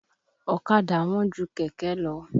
Ọ̀kadà wọ́n ju kẹ̀kẹ́ lọ.